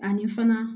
Ani fana